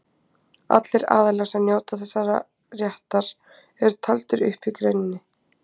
Allir aðilar sem njóta þessa réttar eru taldir upp í greininni.